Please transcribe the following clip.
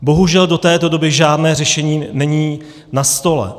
Bohužel do této doby žádné řešení není na stole.